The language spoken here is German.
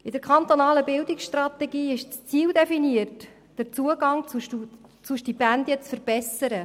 In der kantonalen Bildungsstrategie ist das Ziel definiert, den Zugang zu Stipendien zu verbessern.